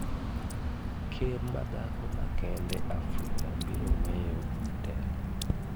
Ker madhako ma kende Afrika biro weyo telo